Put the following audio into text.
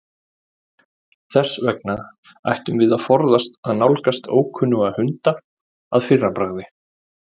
Þess vegna ættum við að forðast að nálgast ókunnuga hunda að fyrra bragði.